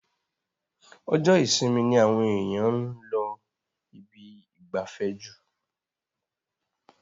Ọjọ́ isinmi ni àwọn èyàn ń lọ ibi ìgbafẹ́ jù.